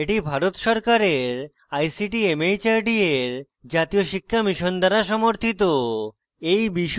এটি ভারত সরকারের ict mhrd এর জাতীয় শিক্ষা mission দ্বারা সমর্থিত